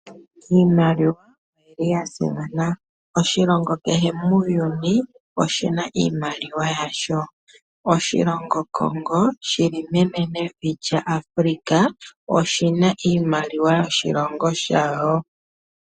Iimaliwa oya simana. Oshilongo kehe muuyuni oshi na iimaliwa yasho. Oshilongo Congo shi limenenevi lyaAfrika oshi na iimaliwa yoshilongo shasho.